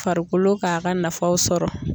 Farikolo k'a ka nafaw sɔrɔ.